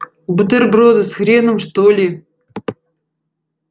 бутерброды с хреном что ли